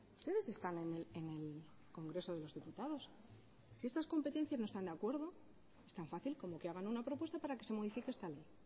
ustedes están en el congreso de los diputados si con estas competencias no están de acuerdo es tan fácil como que hagan una propuesta para que se modifique esta ley